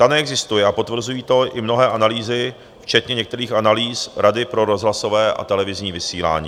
Ta neexistuje a potvrzují to i mnohé analýzy, včetně některých analýz Rady pro rozhlasové a televizní vysílání.